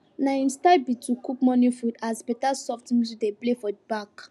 na him style be to cook morning food as better soft music dey play for back